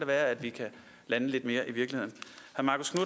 være at vi kan lande lidt mere i virkeligheden